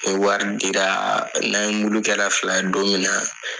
O wari diraa. N'an ye mulu kɛra fila ye don min na